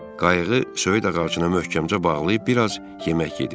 Qayığı söyüd ağacına möhkəmcə bağlayıb bir az yemək yedim.